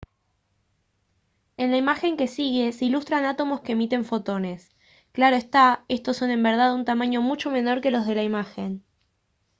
en la imagen que sigue se ilustran átomos que emiten fotones claro está estos son en verdad de un tamaño mucho menor que los de la imagen